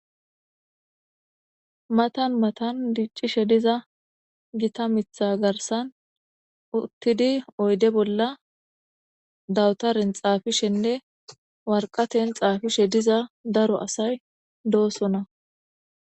Matani matani dicishe diza gitta mitha garisan utidi oyide bolla dawutare xafishenee wariqateyn xafishe diza daro asay dosona